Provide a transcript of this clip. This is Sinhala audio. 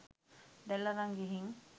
දැල් අරන් ගිහින්